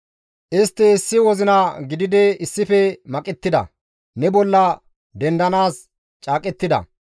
Istti issi wozina gididi issife maqettida; ne bolla dendanaas caaqettida.